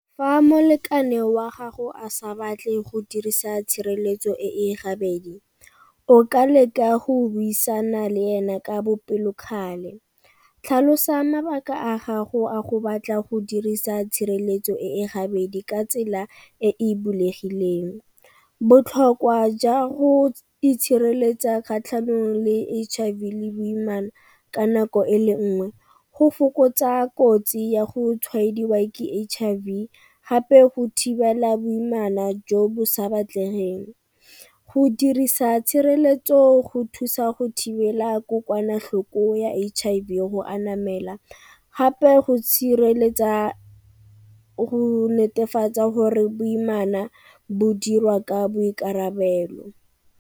Fa molekane wa gago a sa batle go dirisa tshireletso e e gabedi, o ka leka go buisana le ena ka bopelokgale. Tlhalosa mabaka a gago a go batla go dirisa tshireletso e e gabedi ka tsela e e bulegileng. Botlhokwa jwa go itshireletsa kgatlhanong le H_I_V le boimana ka nako e le nngwe go fokotsa kotsi ya go tshwaediwa ka H_I_V gape go thibela boimana jo bo sa batlegeng. Go dirisa tshireletso go thusa go thibela kokwanatlhoko ya H_I_V go a namela gape go tshireletsa go netefatsa gore boimana bo dirwa ka boikarabelo.